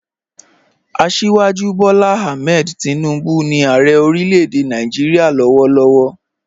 Asíwájú Bọ́lá Àhmẹ̀d Tìnúbu ni Ààrẹ̀ orílẹ̀-èdè Nàìjíríà lọ́wọ̀lọ́wọ̀